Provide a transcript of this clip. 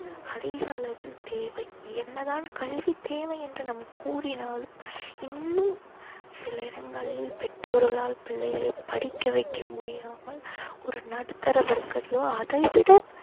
அதிக அளவில் தேவை. என்னதான் கல்வித் தேவை என்று நாம் கூறினாலும் இன்னும் சில இடங்களில் பெற்றோர்களால் பிள்ளைகளை படிக்க வைக்க முடியாமல் ஒரு நடுத்தர வர்கரோ அதை விட